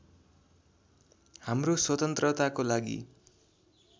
हाम्रो स्वतन्त्रताको लागि